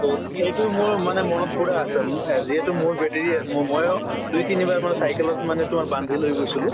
তʼ সেইটো মোৰ মানে মনত পুৰা আছে মু আহ যিহেতু মোৰ battery ম ময়ো দুই তিনি বাৰ মান cycle ত মানে তোমাৰ বান্ধি লৈ গৈছিলো।